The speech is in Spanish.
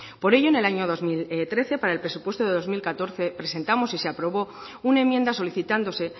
por ello en el año dos mil trece para el presupuesto de dos mil catorce presentamos y se aprobó una enmienda solicitándose